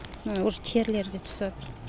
міні уже терілері де түсіватыр